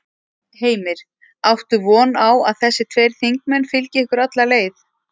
Heimir: Áttu von á að þessi tveir þingmenn fylgi ykkur alla leið?